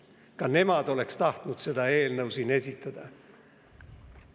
Ka nemad oleks tahtnud seda eelnõu siin esitleda.